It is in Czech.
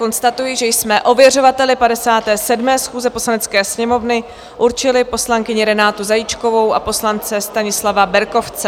Konstatuji, že jsme ověřovateli 57. schůze Poslanecké sněmovny určili poslankyni Renátu Zajíčkovou a poslance Stanislava Berkovce.